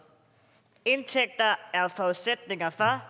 indtægter er forudsætninger for